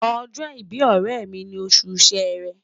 Ojo ibi oremi ni osu Sere